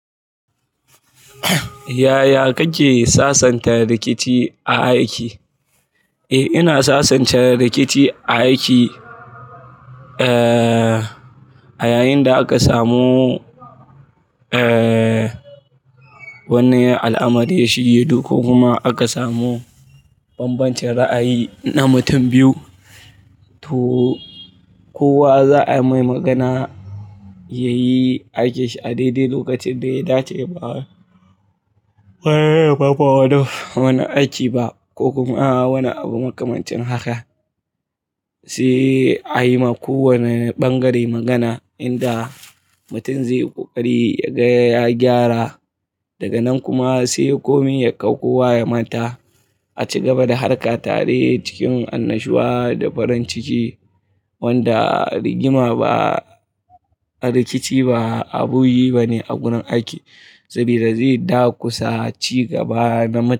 Yaya kake sasanta rikici a aiki? Eh, ina sasanta rikici a aiki, A yayin da aka samu wani al'amari ya shige duhu ko kuma aka samu bambancin ra'ayi na mutum biyu. To kowa za'a mai magana yayi aikinshi a daidai lokacin da ya dace. Ba wani aiki ba ko kuma wani abu makamancin haka. Sai a yi ma kowane ɓangare magana inda mutum zai yi ƙoƙari ya ga yagyara. Daga nan kuma sai komai ya kau kowa ya manta. A ci gaba da harka tare cikin annashuwa da farin ciki. Wanda rigima ba, rikici ba abu yi bane a gunan aiki. Saboda zai dakusa ci gaba na mu--